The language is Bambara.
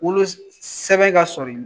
Wolo sɛbɛn ka sɔrɔ